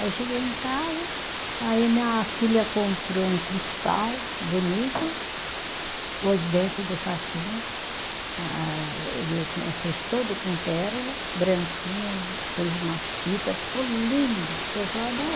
Aí cheguei em casa, aí a minha filha comprou um cristal bonito, pôs dentro do saquinho, ah ah eu tinha, eu fiz todo com pérola, branquinho, pôs umas fitas, ficou lindo, o pessoal